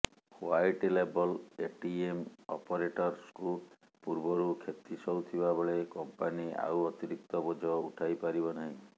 white label ATM ଅପରେଟସଙ୍କୁ ପୂର୍ବରୁ କ୍ଷତି ସହୁଥିବାବେଳେ କମ୍ପାନି ଆଉ ଅତିରିକ୍ତ ବୋଝ ଉଠାଇପାରିବ ନାହିଁ